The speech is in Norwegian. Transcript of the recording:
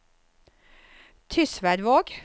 Tysværvåg